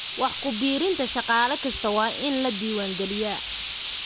Wax ku biirinta shaqaale kasta waa in la diwaangeliyaa.